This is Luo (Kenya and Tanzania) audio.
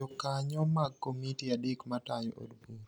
Jokanyo mag komiti adek matayo od bura